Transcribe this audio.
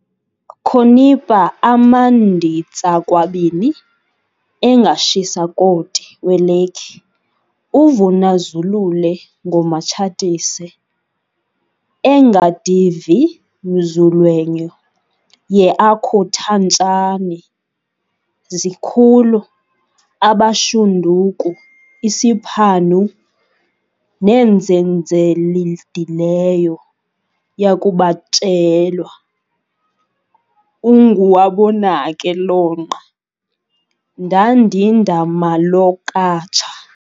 Khonipa amanditsakwabini engashisakoti welekhi uVunazulule ngomaTshatise engadivimzulwenyo yeAkhuthantshani zikhulu abashanduku isipanhu nendzenzelidileyo yakubatshelwa enguwabonake lonqa ngadindamalokatsha